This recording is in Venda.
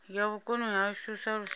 ya vhukoni hashu sa lushaka